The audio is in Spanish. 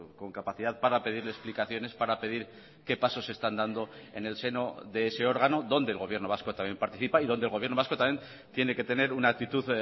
con capacidad para pedirle explicaciones para pedir qué pasos se están dando en el seno de ese órgano donde el gobierno vasco también participa y donde el gobierno vasco también tiene que tener una actitud